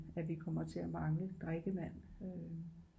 At vi kommer til at mangle drikkevand